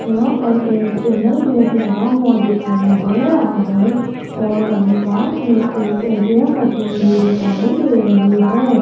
यहां पर एक चैनल गेट लगा हुआ दिखाई दे रहा है और वहीं पास में एक ए_टी_एम मशीन भी दिखाई दे रही है।